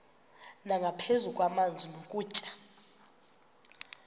nangaphezu kwamanzi nokutya